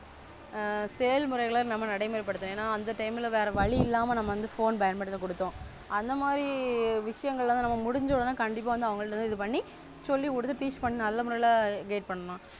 ஆ செயல்முறைகளை நடைமுறைப்படுத்தும். ஏன்னா அந்த Time வேற வழி இல்லாம நம்ம வந்து Phone பயன்படுத்த கொடுத்தோம். அந்த மாறி விஷயங்கள்லாம் முடிஞ்சது. கண்டிப்பா வந்து அவங்க இது பண்ணி சொல்லி குடுத்து Teach பண்ணி நல்ல Guide பண்ணனும்.